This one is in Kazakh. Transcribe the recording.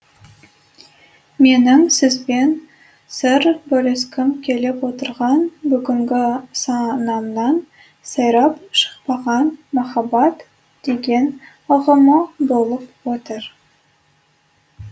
менің сізбен сыр бөліскім келіп отырған бүгінгі санамнан сайрап шықпаған махаббат деген ұғымы болып отыр